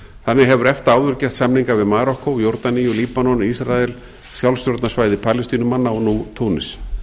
þannig hefur efta áður gert samninga við marokkó jórdaníu líbanon ísrael sjálfstjórnarsvæði palestínumanna og nú túnis